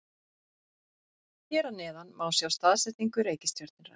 Hér að neðan má sjá staðsetningu reikistjörnunnar.